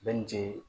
Bɛ ni cee